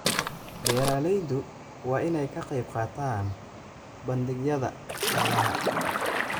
Beeralaydu waa inay ka qaybqaataan bandhigyada xoolaha.